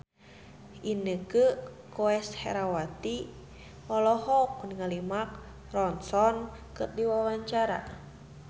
Inneke Koesherawati olohok ningali Mark Ronson keur diwawancara